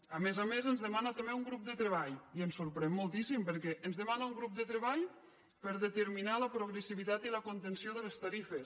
a més a més ens demana també un grup de treball i ens sorprèn moltíssim perquè ens demana un grup de treball per determinar la progressivitat i la contenció de les tarifes